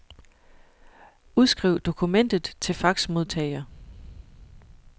Udskriv dokumentet til faxmodtager.